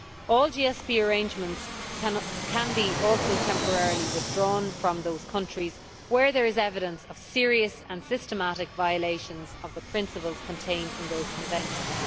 All GSP arrangements can be temporarily withdrawn from those countries where there is evidence of serious and systematic violation of the principles contained in those conventions.